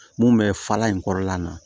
Mun bɛ fara in kɔrɔla in na